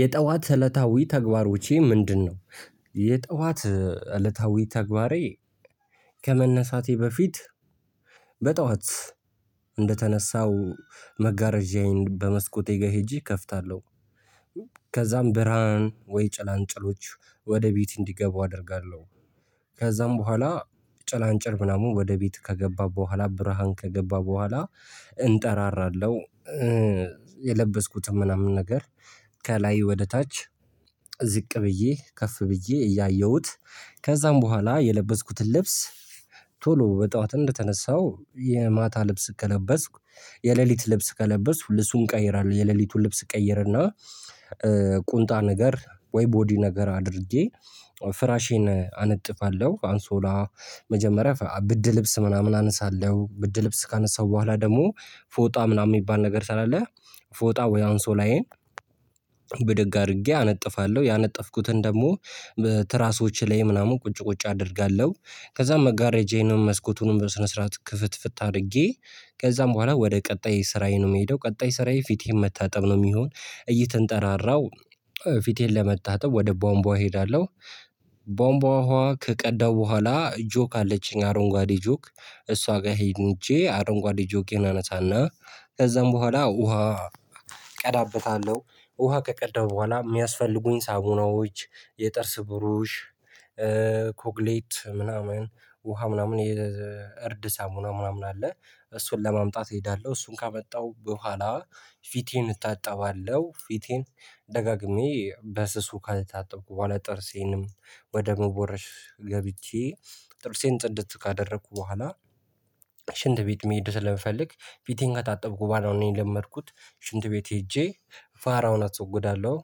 የጠዋት እለታዊ ተግባሮቼ ምንድነው? የጠዋት እለታዊ ተግባሬ ከመነሳቴ በፊት በጧት እንደተነሳው መጋረጃዬን በመስኮቴ ጋር ሄጄ እከፍታለሁ። ከዛም ብርሃን ወይ ጭላንጭሎች ወደ ቤት እንዲገቡ አደርጋለሁ። ከዛም በኋላ ጭላንጭል ምናምን ወደ ቤት ከገባ በኋላ ብርሃን ከገባ በኋላ እንጠራራለሁ። የለበስኩትም ምናምን ነገር ከላይ ወደ ታች ዝቅ ብዬ ከፍ ብዬ እያየሁት ከዛም በኋላ የለበስኩትን ልብስ ቶሎ በጧት እንደተነሳው የማታ ልብስ ከለበስኩ የሌሊት ልብስ ከለበስኩ ልብሱን ቀይራለሁ የሌሊቱን ልብስ ቀይርና። ቁንጣ ነገር ወይ ቦዲ ነገር አድርጌ ፍራሼን አነጥፋለሁ። አንሶላ መጀመሪያ ብርድ ልብስ ምናምን አነሳለሁ ብርድ ልብስ ካነሳሁ በኋላ ደግሞ ፎጣ ምናምን የሚባል ነገር ስላለ ፎጣ ወይ አንሶላዬን ብድግ አድርጌ አነጥፋለሁ። ያነጠፍኩትን ደግሞ ትራሶች ላይ ምናምን ቁጭ ቁጭ አደርጋለሁ። ከዛ መጋረጃዬን መስኮቱን በስነ ስርዓት ክፍት ፍት አድርጌ ከዛም በኋላ ወደ ቀጣይ ስራዬ ነው የምሄደው ቀጣይ ስራዬ ፊቴን መታጠብ ነው የሚሆን እየተንጠራራው ፊቴን ለመታጠብ ወደ ቧንቧ እሄዳለሁ። ቧንቧ ውሃ ከቀዳው በኋላ ጆክ አለችኝ አረንጓዴ ጆክ እሷ ጋር ሄጄ አረንጓዴ ጆኬን አነሳና ከዛም በኋላ ውሃ ቀዳበታለሁ። ውሃ ከቀዳው በኋላ የሚያስፈልጉኝ ሳሙናዎች የጥርስ ብሩሽ ኮግሌት ምናምን ውሃ ምናምን የእርድ ሳሙና ምናምን አለ። እሱን ለማምጣት እሄዳለሁ እሱን ካመጣው በኋላ ፊቴን እታጠባለሁ። ፊቴን ደጋግሜ በስሱ ካታጠብኩ በኋላ ጥርሴንም ወደ መቦረሽ ገብቼ ጥርሴን ጽድት ካደረኩ በኋላ። ሽንት ቤት መሄድ ስለምፈልግ ፊቴን ከታጠብኩ በኋላ ነው እኔ የለመድኩት ሽንት ቤት ሄጄ ፋራውን አስወግዳለሁ።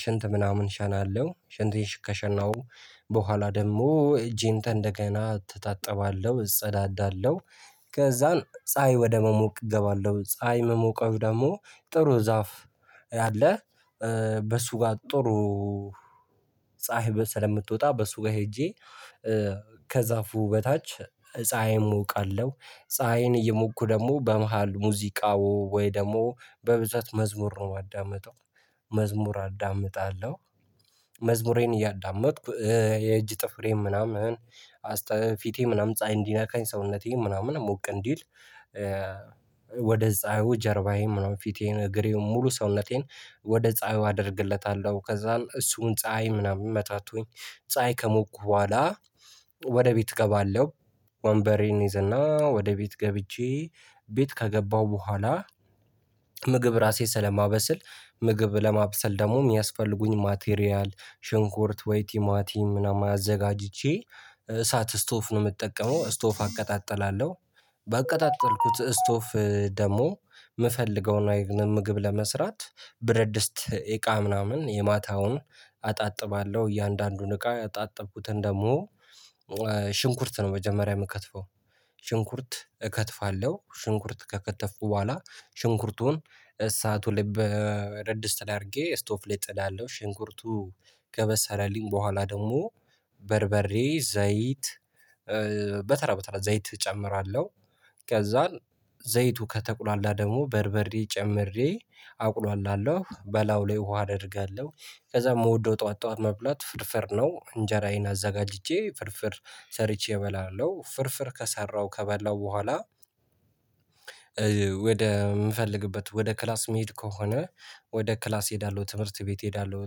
ሽንት ምናምን ሸናለው ሽንቴን ከሸናው በኋላ ደግሞ እጄን ከንደገና እተታጠባለሁ እጸዳዳለሁ። ከዛም ፀሀይ ወደ መሞቅ እገባለሁ ፀሀይ ምሞቀው ደግሞ ጥሩ ዛፍ አለ። በሱ ጋር ጥሩ ፀሀይ ስለምትወጣ በሱ ጋር ሄጄ ከዛፉ በታች ፀሀይም እሞቃለሁ ፀሀይን እየሞኩ ደግሞ በመሃል ሙዚቃው ወይ ደግሞ በብዛት መዝሙር ነው ማዳምጠው መዝሙር አዳምጣለሁ። መዝሙሬን እያዳመጥኩ የእጅ ጥፍሬም ምናምን አስተ ፊቴ ምናምን ፀሀይ እንዲነካኝ ሰውነቴ ምናምን ሞቅ እንዲል። ወደ ፀሀዩ ጀርባዬን ምናምን ፊቴን እግሬን ሙሉ ሰውነቴን ወደ ፀሀዩ አደርግለታለሁ ከዛም እሱን ፀሀይ ምናምን መታቶኝ ፀሀይ ከሞኩ በኋላ ወደ ቤት እገባለሁ። ወንበሬን ይዘና ወደ ቤት ገብቼ ቤት ከገባሁ በኋላ ምግብ ራሴ ስለማበስል ምግብ ለማብሰል ደግሞ የሚያስፈልጉኝ ማቴሪያል ሽንኩርት ወይ ቲማቲም ምናምን አዘጋጅቼ እሳት እስቶፍ ነው የምጠቀመው እስቶፍ አቀጣጥላለሁ። ባቀጣጠልኩት እስቶፍ ደግሞ ምፈልገውን አይነት ምግብ ለመስራት ብረት ድስት እቃ ምናምን የማታውን አጣጥባለሁ እያንዳንዱን እቃ ያጣጠብኩትን ደግሞ ሽንኩርት ነው መጀመሪያ የምከትፈው። ሽንኩርት እከትፋለሁ ሽንኩርት ከከተፍኩ በኋላ ሽንኩርቱን እሳቱ ብረት ድስት ላይ አድርጌ ስቶፍ ላይ እጥዳለሁ ሽንኩርቱ ከበሰለልኝ በኋላ ደግሞ በርበሬ ዘይት በተራ በተራ ዘይት እጨምራለሁ ከዛን ዘይቱ ከተቁላላ ደግሞ በርበሬ ጨምሬ አቁላለው በላዩ ላይ ውሃ አደርጋለሁ። ከዛ የምወደው ጠዋት ጠዋት መብላት ፍርፍር ነው እንጀራዬን አዘጋጅቼ ፍርፍር ሰርቼ እበላለሁ ፍርፍር ከሰራሁ ከበላሁ በኋላ። ወደ ምፈልግበት ወደ ክላስ ምሄድ ከሆነ ወደ ክላስ እሄዳለሁ ትምህርት ቤት እሄዳለሁ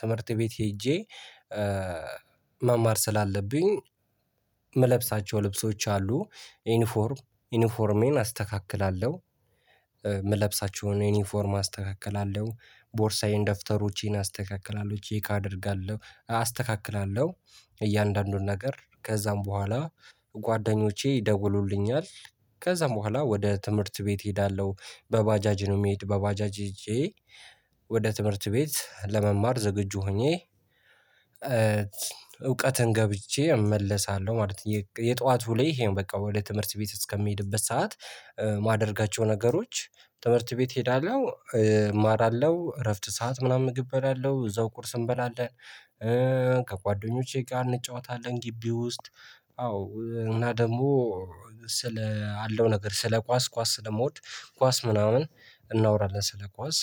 ትምህርት ቤት ሄጄ። መማር ስላለብኝ የምለብሳቸው ልብሶች አሉ ዩኒፎርም ዩኒፎርሜን አስተካክላለሁ። ምለብሳቸውን ዩኒፎርም አስተካክላለሁ ቦርሳዬን ደፍተሮቼን አስተካክላለሁ ቼክ አደርጋለሁ አስተካክላለሁ። እያንዳንዱን ነገር ከዛም በኋላ ጓደኞቼ ይደውሉልኛል። ከዛም በኋላ ወደ ትምህርት ቤት እሄዳለሁ በባጃጅ ነው የሚሄድ በባጃጅ ሄጄ ወደ ትምህርት ቤት ለመማር ዝግጁ ሆኜ። እውቀትን ገብይቼ እመለሳለሁ ማለት ነው። የጧቱ ላይ ይሄን በቃ ወደ ትምህርት ቤት እስከሚሄድበት ሰዓት የማደርጋቸው ነገሮች። ትምህርት ቤት እሄዳለሁ እማራለሁ እረፍት ሰዓት ምናምን ምግብ እበላለሁ እዛው ቁርስ እንበላለን። ከጓደኞቼ ጋር እንጫወታለን ግቢ ውስጥ። አዎ እና ደግሞ ስለ አለው ነገር ስለ ኳስ ኳስ ስለምወድ ኳስ ምናምን እናወራለን። ስለ ኳስ